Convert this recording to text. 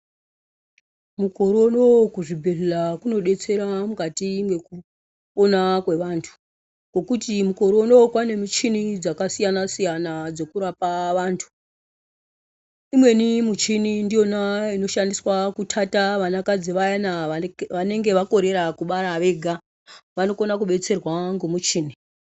Mukore unowu kuzvibhedhlera kunobetsera mukati mwekupona kwevantu. Ngekuti mukore unowu kwane muchini dzakasiyana siyana dzekurapa vantu. Imweni michini ndiyona inoshandiswe kuthatha vanakadzi vayana vanonga vakorera kubara vega. Vanokona kubetserwawo ngemuchini.